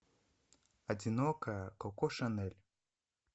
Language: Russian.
одинокая коко шанель